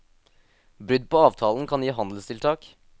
Brudd på avtalen kan gi handelstiltak.